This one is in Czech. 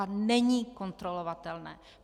A není kontrolovatelné.